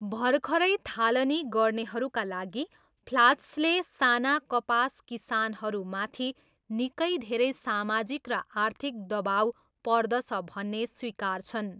भर्खरै थालनी गर्नेहरूका लागि, फ्लाच्सले साना कपास किसानहरूमाथि निकै धेरै सामाजिक र आर्थिक दबाउ पर्दछ भन्ने स्वीकार्छन्।